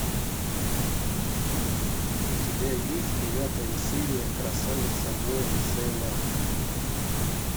у тебя есть девятая серия красавица воин сейлор мун